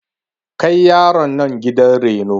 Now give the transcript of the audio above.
Kai yaron nan gidan reno!